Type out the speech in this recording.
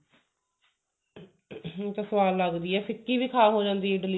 ਸਵਾਦ ਲੱਗਦੀ ਹੈ ਫਿੱਕੀ ਵੀ ਖਾ ਹੋ ਸਕਦੀ ਹੈ